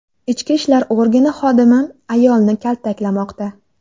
Ichki ishlar organi xodimi ayolni kaltaklamoqda.